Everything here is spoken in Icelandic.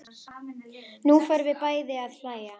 Nú förum við bæði að hlæja.